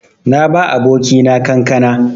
Na ba abokina kankana.